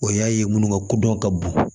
O y'a ye minnu ka kodɔn ka bon